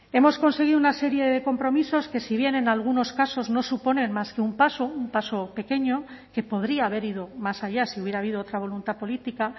hemos conseguido una serie de compromisos que si bien en algunos casos no suponen más que un paso un paso pequeño que podría haber ido más allá si hubiera habido otra voluntad política